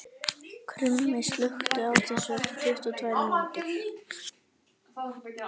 Krummi, slökktu á þessu eftir tuttugu og tvær mínútur.